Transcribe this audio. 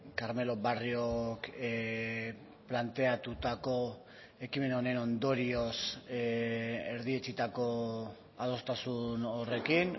carmelo barriok planteatutako ekimen honen ondorioz erdietsitako adostasun horrekin